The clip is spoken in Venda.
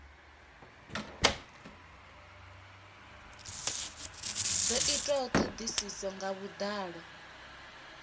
do itwa thodisiso nga vhudalo